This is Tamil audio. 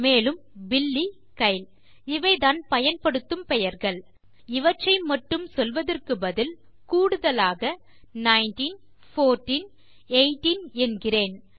மேலும் பில்லி கைல் இவைதான் பயன்படுத்தும் பெயர்கள் இவற்றை மட்டும் சொல்வதற்கு பதில் கூடுதலாக நைன்டீன் போர்ட்டீன் எய்தீன் என்கிறேன்